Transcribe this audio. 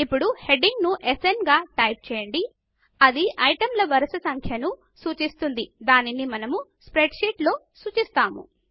ఇప్పుడు హెడింగ్ ను స్న్ గా టైపు చేయండి ఇది ఐటమ్ల వరుస సంఖ్యను సూచిస్తుంది దీనిని మనము స్ప్రెడ్ షీట్ లో సూచిస్తాము